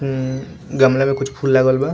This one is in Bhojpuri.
ई गमले में कुछ फूल लागल बा।